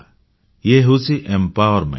ଇଏ ହେଉଛି ସଶକ୍ତିକରଣ